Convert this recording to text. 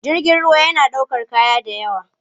Jirgin ruwa yana ɗaukar kaya da yawa.